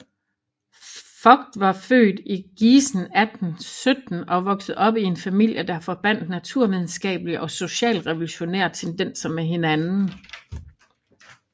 Vogt var født i Gießen 1817 og voksede op i en familie der forbandt naturvidenskabelige og socialrevolutionære tendenser med hinanden